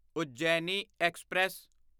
Ujjayi express